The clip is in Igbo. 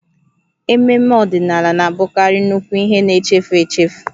Ememme ọdịnala na-abụkarị nnukwu ihe na-echefu echefu